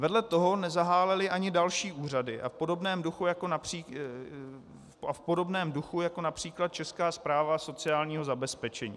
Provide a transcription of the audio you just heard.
Vedle toho nezahálely ani další úřady a v podobném duchu, jako například Česká správa sociálního zabezpečení.